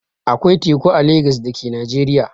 Akwai teku a Legas da ke Najeriya.